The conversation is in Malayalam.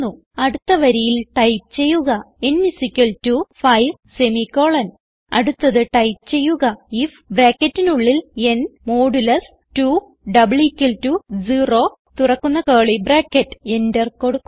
അടുത്ത വരിയിൽ ടൈപ്പ് ചെയ്യുക n 5 അടുത്തത് ടൈപ്പ് ചെയ്യുക ഐഎഫ് ന് 2 0 എന്റർ കൊടുക്കുക